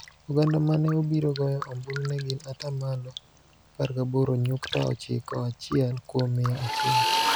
Oganda ma ne obiro goyo ombulu ne gin ata malo 18.91 kuom mia achiel,